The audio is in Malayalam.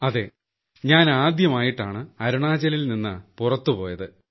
അതേ ഞാൻ ആദ്യമായിട്ടാണ് അരുണാചലിൽ നിന്ന് പുറത്തു പോയത്